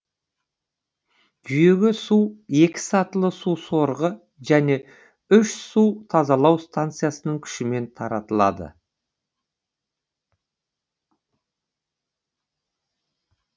жүйеге су екі сатылы су сорғы және үш су тазалау станциясының күшімен таратылады